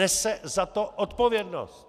Nese za to odpovědnost.